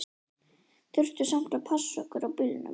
Þurftum samt að passa okkur á bílunum.